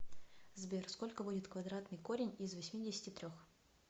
сбер сколько будет квадратный корень из восьмидесяти трех